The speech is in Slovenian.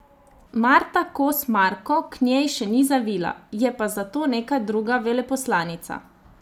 Marta Kos Marko k njej še ni zavila, je pa zato neka druga veleposlanica.